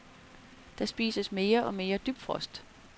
Der spises mere og mere dybfrost.